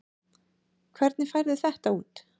Hvernig færðu þetta út?